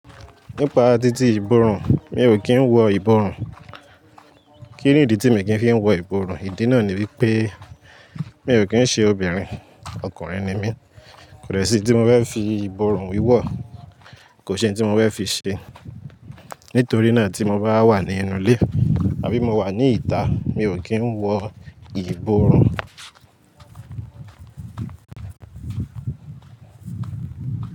Nípa títí ìbòrùn, mi ò kí ń wọ ìbòrùn. Kí nìdí tí mi kì í fi ń wọ ìbòrùn? Ìdí náà ni wípé mi ò kí ń ṣe obìnrin, ọkùnrin ni mí. Kò dè ṣí n tí mo fẹ́ fi ìbòrùn wíwọ̀, kò ṣí n tí mo fẹ́ fi ṣe. Nítorí náà tí mo bá wà ní inú ilé àbí mo wà ní ìta, mi ò kí ń wọ ìbòrùn.